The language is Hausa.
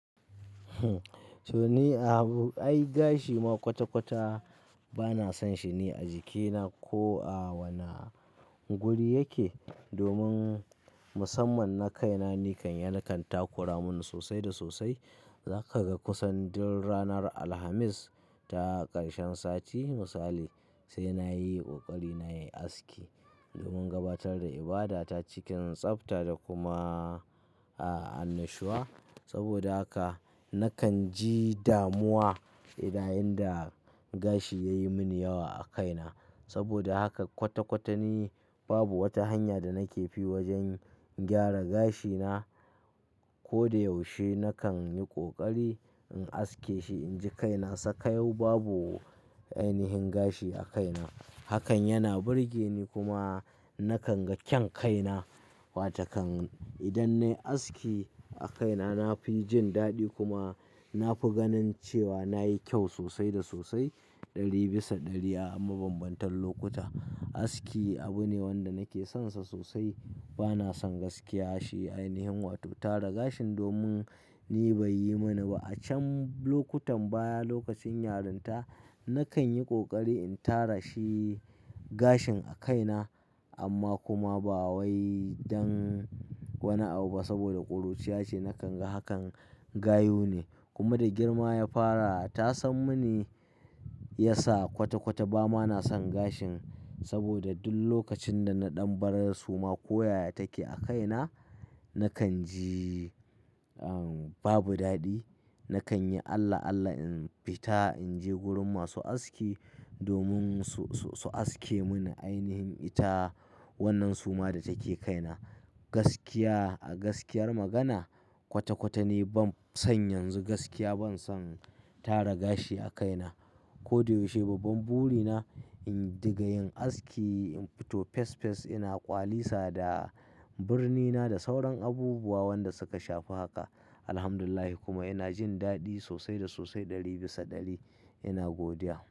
So ni abu, ai gashi ma kwata-kwata bana son shi ne a jikina ko a wane guri yake. Domin musamman na kaina, nikan ya kan takura mun sosai da sosai. Za ka ga kusan duk ranar Alhamis ta karshen sati misali, sai na yi ƙoƙari na yi aski domin gabatar da ibada ta cikin tsabta da kuma, annashuwa. Saboda haka nakan ji damuwa idan yayinda gashi ya yi muni yawa a kaina. Saboda haka kwata-kwata ni babu wata hanya da nake fi wajen gyara gashina. Ko da yaushe nakan yi ƙoƙari in aske shi inji kaina sakayau babu ainihin gashi a kaina. Hakan yana burge ni kuma nakan ga kyan kaina. Watakan idan na yi aski a kaina, na fi jin daɗi kuma na fi ganin cewa na yi kyau sosai da sosai ɗari bisa ɗari a mabambantan lokuta. Aski abu ne wanda nake sonsa sosai. Bana son gaskiya shi ainihin wato tara gashin domin ni bai yi mini ba. A can lokutan baya lokacin yarinta, nakan yi ƙoƙari in tara shi gashin a kaina amma kuma ba wai don wani abu ba saboda ƙuruciya ce nakan ga hakan, gayu ne. Kuma da girma ya fara, ta san mini ya sa kwata-kwata ba ma na son gashin. Saboda duk lokacin da na ɗan barar suma ko yaya take a kaina, nakan ji, an, babu daɗi. Nakan yi Allah Allah in fita in je gurin masu aski domin su, su, su aske mini ainihin ita wannan suma da take kaina. Gaskiya a gaskiyar magana kwata-kwata ni ban son yanzu gaskiya ban son tara gashi a kaina. Ko da yaushe babban buri na in diga yin aski, in fito fes fes ina ƙwalisa da birni na da sauran abubuwa wanda suka shafi haka. Alhamdulillah kuma ina jin daɗi sosai da sosai ɗari bisa ɗari ina godiya.